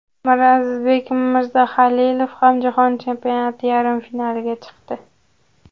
Mirazizbek Mirzahalilov ham Jahon chempionati yarim finaliga chiqdi.